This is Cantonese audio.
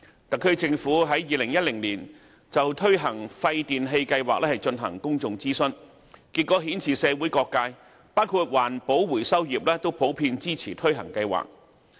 特區政府在2010年就推行廢電器計劃進行公眾諮詢，結果顯示社會各界，包括環保回收業均普遍支持推行計劃。